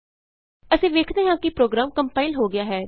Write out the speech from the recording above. ਅਸੀਂ ਵੇਖਦੇ ਹਾਂ ਕਿ ਪ੍ਰੋਗਰਾਮ ਕੰਪਾਇਲ ਹੋ ਗਿਆ ਹੈ